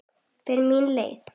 Fer mína leið.